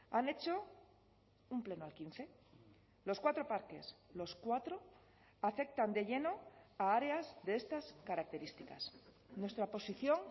han hecho un pleno al quince los cuatro parques los cuatro afectan de lleno a áreas de estas características nuestra posición